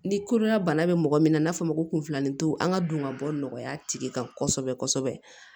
Ni kodɔnna bana bɛ mɔgɔ min na n'a fɔra ko kunfilan tɛ an ka don ka bɔ nɔgɔya tigi kan kosɛbɛ kosɛbɛ